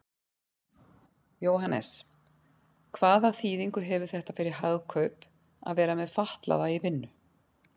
Jóhannes: Hvaða þýðingu hefur þetta fyrir Hagkaup að vera með fatlaða í vinnu?